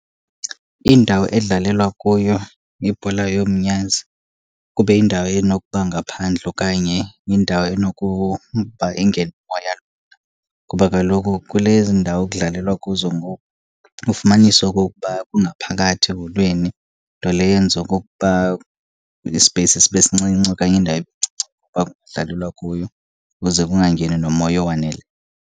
Indawo edlalelwa kuyo ibhola yomnyazi kube yindawo enokuba ngaphandle okanye indawo enokuba ingene umoya lula, kuba kaloku kulezi ndawo kudlalelwa kuzo ngoku ufumanisa okokuba kungaphakathi eholweni, nto leyo eyenza okokuba ispeyisi sibe sincinci okanye indawo ibe ncinci uba kungadlalelwa kuyo kuze kungangeni nomoya owaneleyo.